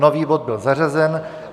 Nový bod byl zařazen.